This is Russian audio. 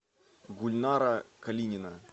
гульнара калинина